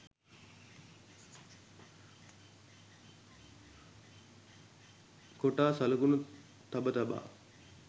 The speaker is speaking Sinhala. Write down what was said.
කොටා සලකුණු තබ තබා